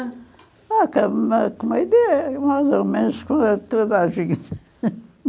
Ah, com a comida, é mais ou menos, toda a gente.